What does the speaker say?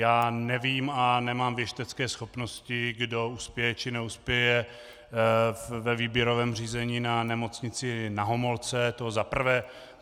Já nevím, a nemám věštecké schopnosti, kdo uspěje či neuspěje ve výběrovém řízení na Nemocnici Na Homolce, to za prvé.